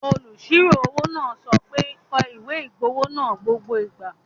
Olùsirò-owó náà sọ pé, 'kọ ìwé-ìgbowó náà gbogbo ìgbà